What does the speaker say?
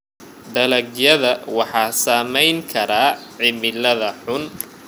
Dalagyada waxaa saameyn kara cimilada xun.